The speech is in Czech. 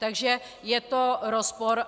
Takže je to rozpor.